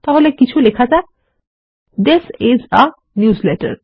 তাহলে কিছু লেখা যাক থিস আইএস a নিউজলেটার